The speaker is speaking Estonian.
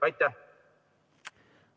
Aitäh!